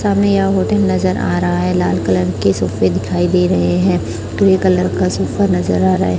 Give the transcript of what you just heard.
सामने यह होटल नज़र आ रहा है लाल कलर के सोफे दिखाई दे रहे है ग्रे कलर का सोफा नज़र आ रहा है।